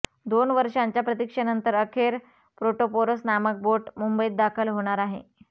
दोन वर्षांच्या प्रतीक्षेनंतर अखेर प्रोटोपोरस नामक बोट मुंबईत दाखल होणार आहे